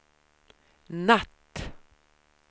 natt